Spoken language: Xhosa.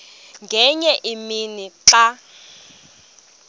ngenye imini xa